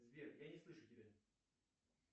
сбер я не слышу тебя